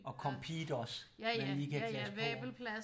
Og Compeed også man lige kan klaske på